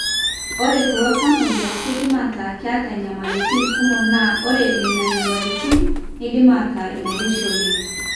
ore kulo tamuoyia keidim ataa keeta inyamalitin kumok naa ore nenanyamalitin neidim aataa inairoshi oleng.